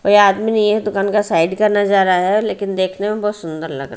कोई आदमी नहीं है दुकान का साइड का नजारा है लेकिन देखने में बहुत सुंदर लगा रह--